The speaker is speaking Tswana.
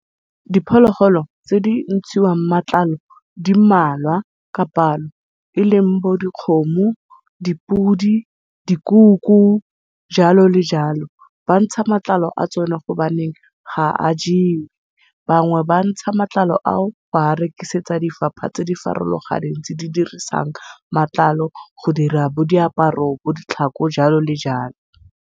Diphologolo tse di ntshiwang matlalo di mmalwa ka palo, eleng bo dikgomo, dipudi, dikoko jalo le jalo. Bantsha matlalo a tsone gobaneng ga a jewe. Bangwe bantsha matlalo a o ba a rekisetsa difapha tse di farologaneng tse di dirisang matlalo go dira bo diaparo bo ditlhako jalo le jalo.